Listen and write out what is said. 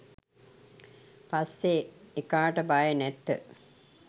පස්සෙ එකාට බය නැත